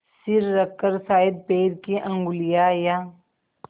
सिर रखकर शायद पैर की उँगलियाँ या